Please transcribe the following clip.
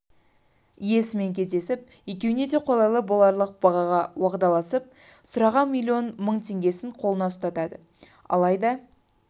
иесімен кездесіп екеуіне де қолайлы боларлық бағаға уағдаласып сұраған миллион мың теңгесін қолына ұстатады алайда